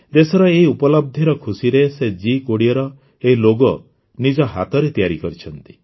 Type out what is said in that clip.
ଦେଶର ଏହି ଉପଲବ୍ଧିର ଖୁସିରେ ସେ ଜି୨୦ର ଏହି ଲୋଗୋ ନିଜ ହାତରେ ତିଆରି କରିଛନ୍ତି